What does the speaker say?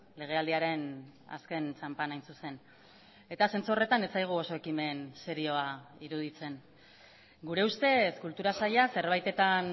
legealdiaren azken txanpan hain zuzen eta zentzu horretan ez zaigu oso ekimen serioa iruditzen gure ustez kultura saila zerbaitetan